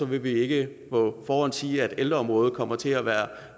vil vi ikke på forhånd sige at ældreområdet kommer til at være